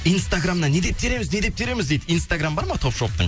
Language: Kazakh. инстаграмнан не деп тереміз не деп тереміз дейді инстаграм бар ма топ шоптың